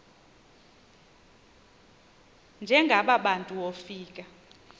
njengaba bantu wofika